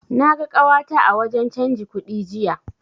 Na ga ƙawata a wajen canji kudi jiya.